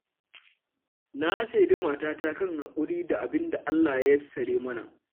Na shaidi matata kan haƙuri da abinda Allah ya yassare mana.